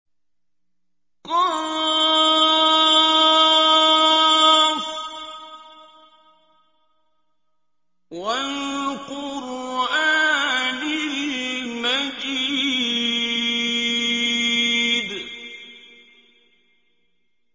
ق ۚ وَالْقُرْآنِ الْمَجِيدِ